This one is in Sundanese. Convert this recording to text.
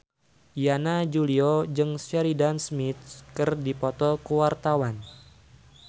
Yana Julio jeung Sheridan Smith keur dipoto ku wartawan